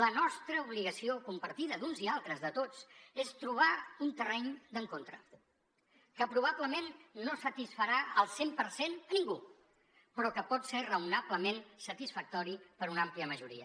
la nostra obligació compartida d’uns i altres de tots és trobar un terreny d’encontre que probablement no satisfarà al cent per cent a ningú però que pot ser raonablement satisfactori per una àmplia majoria